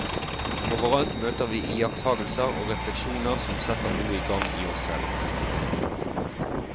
Overalt møter vi iakttagelser og refleksjoner som setter noe i gang i oss selv.